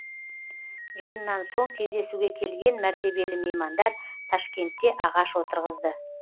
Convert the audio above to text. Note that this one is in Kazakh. жиыннан соң кездесуге келген мәртебелі меймандар ташкентте ағаш отырғызды